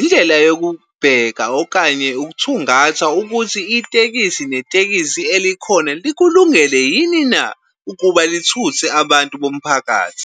indlela yokubheka okanye ukuthungatha ukuthi itekisi netekisi elikhona likulungele yini na ukuba lithuthe abantu bomphakathi?